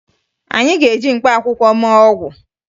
Anyị ga-eji mkpaakwụkwọ mee ọgwụ